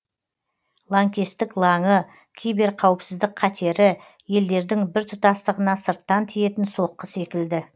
лаңкестік лаңы киберқауіпсіздік қатері елдердің біртұтастығына сырттан тиетін соққы секілді